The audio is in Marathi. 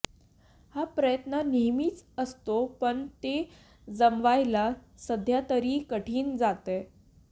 हा प्रयत्न नेहमीच असतो पण ते जमवायला सध्या तरी कठीण जातंय